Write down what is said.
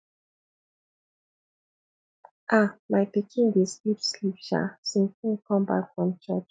um my pikin dey sleep sleep um since in come back from church